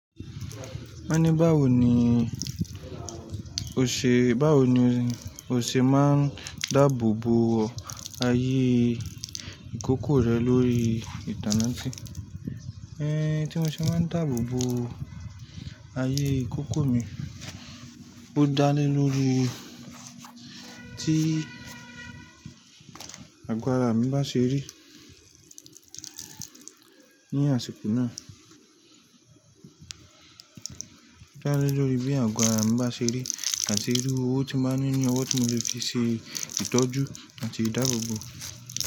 Wọ́n ní báwo ni o ṣe, báwo ni o ṣe máa ń dáàbòbò ààyè ìkókó rẹ lórí ìtànàtì? Ẹn, tí mo ṣe máa ń dáàbòbò ààyè ìkókó mi, ó dá lé lórí tí àgbàrá mi bá ṣe rí ní àsìkò náà. Ó dá lé lórí bí àgo ará mi bá ṣe rí àti irú owó tí máa ń ní ní ọwọ́ tí mo lè fi ṣe ìtọ́jú àti ìdáàbòbò.